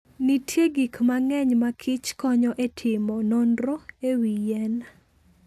Nitie gik mang'eny ma kich konyo e timo nonro e wi yien.